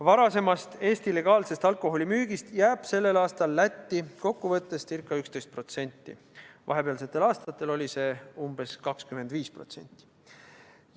Varasemast Eesti legaalsest alkoholimüügist jääb sellel aastal Lätti kokkuvõttes ca 11%, vahepealsetel aastatel oli see umbes 25%.